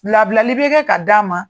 Labilali bɛ kɛ ka d''a ma